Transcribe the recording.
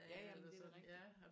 Ja ja men det er da rigtigt